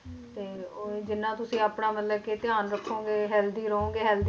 ਤੇ ਉਹੀ ਜਿੰਨਾ ਤੁਸੀਂ ਆਪਣਾ ਮਤਲਬ ਕਿ ਧਿਆਨ ਰੱਖੋਗੇ healthy ਰਹੋਗੇ health